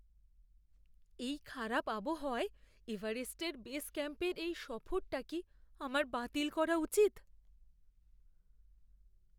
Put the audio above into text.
এই খারাপ আবহাওয়ায় এভারেস্টের বেস ক্যাম্পের এই সফরটা কি আমার বাতিল করা উচিত?